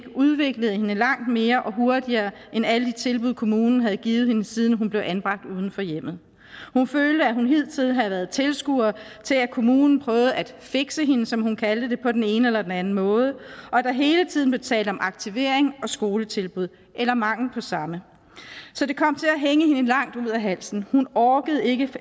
udviklede hende langt mere og hurtigere end alle de tilbud kommunen havde givet hende siden hun blev anbragt uden for hjemmet hun følte at hun hidtil havde været tilskuer til at kommunen prøvede at fikse hende som hun kaldte det på den ene eller den anden måde og at der hele tiden blev talt om aktivering og skoletilbud eller mangel på samme så det kom til at hænge hende langt ud af halsen hun orkede ikke